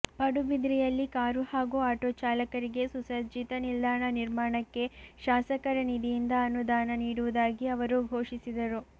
ಪಡುಬಿದ್ರಿಯಲ್ಲಿ car ಹಾಗೂ auto ಚಾಲಕರಿಗೆ ಸುಸಜ್ಜಿತ ನಿಲ್ದಾಣ ನಿರ್ಮಾಣಕ್ಕೆ ಶಾಸಕರ ನಿಧಿಯಿಂದ ಅನುದಾನ ನೀಡುವುದಾಗಿ ಅವರು ಘೋಷಿಸಿದರು